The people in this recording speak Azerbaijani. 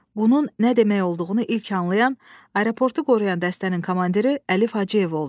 Bunun nə demək olduğunu ilk anlayan aeroportu qoruyan dəstənin komandiri Əlif Hacıyev oldu.